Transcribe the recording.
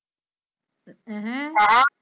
ਏਹਮ